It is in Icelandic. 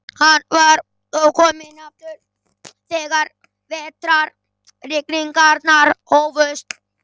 Hann var ókominn aftur þegar vetrarrigningarnar hófust.